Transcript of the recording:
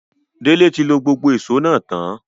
Dele ti lo gbogbo éṣo náa tan